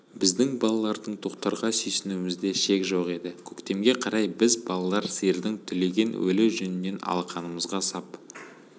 біздің балалардың тоқтарға сүйсінуімізде шек жоқ еді көктемге қарай біз балалар сиырдың түлеген өлі жүнінен алақанымызға сап